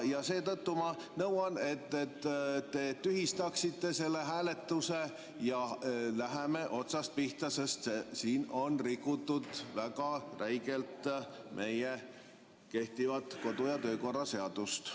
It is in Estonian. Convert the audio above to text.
Seetõttu ma nõuan, et te tühistaksite selle hääletuse ja hakkame otsast pihta, sest siin on väga räigelt rikutud kehtivat kodu‑ ja töökorra seadust.